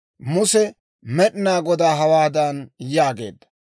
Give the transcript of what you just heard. Muse Med'inaa Godaa hawaadan yaageedda;